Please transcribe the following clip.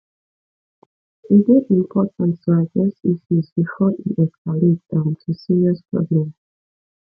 e dey important to address issues before e escalate um to serious problem